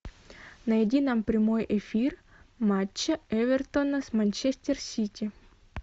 найди нам прямой эфир матча эвертона с манчестер сити